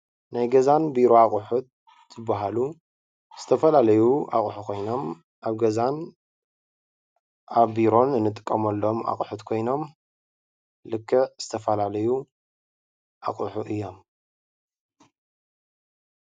ናይ ገዛን ቢሮን ኣቁሑት ዝበሃሉ ዝተፈላለዩ ኣቁሑ ኮይኖም ኣብ ገዛን ኣብ ቢሮን ንጥቀመሎም ኣቁሑት ኮይኖም ልክዕ ዝተፈላለዩ ኣቁሑ እዮም፡፡